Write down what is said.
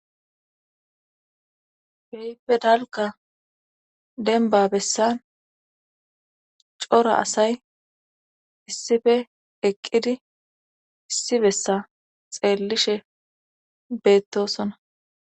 heype dalka denba bessa cora asay issife eqqidi issi bessa xeellishe beettosona